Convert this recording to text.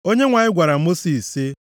Onyenwe anyị gwara Mosis sị,